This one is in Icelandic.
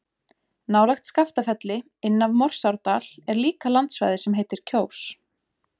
Nálægt Skaftafelli, inn af Morsárdal er líka landsvæði sem heitir Kjós.